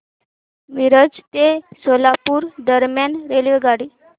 मिरज ते सोलापूर दरम्यान रेल्वेगाडी